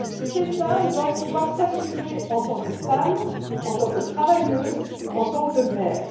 Ces femmes doivent pouvoir s'assumer en tant que femmes, en tant que travailleuses et en tant que mères.